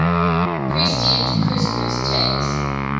pre steamed couscous takes